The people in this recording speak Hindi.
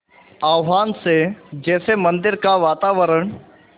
आह्वान से जैसे मंदिर का वातावरण